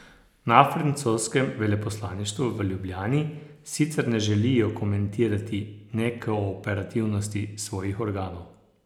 Na francoskem veleposlaništvu v Ljubljani sicer ne želijo komentirati nekooperativnosti svojih organov.